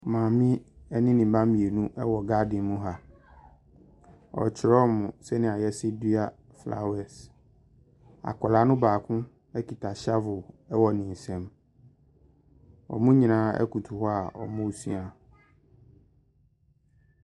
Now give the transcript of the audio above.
Maame ɛne ne mma mienu ɛwɔ garden mu ha. Ɔkyerɛ ɔmo sɛnea yɛsi fa dua flawɛs. Akɔlaa no baako ɛketq hyavol ɛwɔ ne nsem. Ɔmo nyinaa ɛkoto hɔ a ɔmo sua.